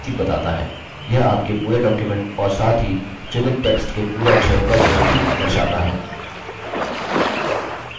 यह आपके पूरे document और साथ ही चुनित text के पूरे अक्षरों का जोड़ भी दर्शाता है